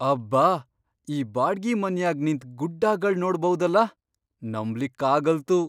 ಅಬ್ಬಾ ಈ ಬಾಡ್ಗಿ ಮನ್ಯಾಗ್ ನಿಂತ್ ಗುಡ್ಡಾಗಳ್ ನೋಡಭೌದಲಾ. ನಂಬ್ಲಿಕ್ಕಾಗಲ್ತು!